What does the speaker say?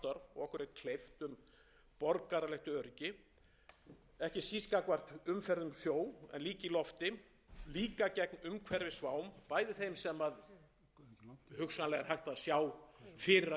og okkur er kleift um borgaralegt öryggi ekki síst gagnvart umferð um sjó en líka í lofti líka gegn umhverfisvám bæði þeim sem hugsanlega er hægt að sjá fyrir að gætu gerst en við eigum